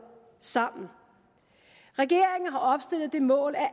sammen regeringen har opstillet det mål at